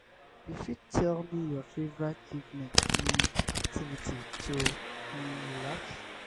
you fit tell me your favorite evening um activity to um relax